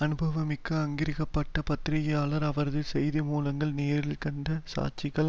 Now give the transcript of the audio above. அனுபவமிக்க அங்கீகரிக்க பட்ட பத்திரிகையாளர் அவரது செய்தி மூலங்கள் நேரில் கண்ட சாட்சிகள்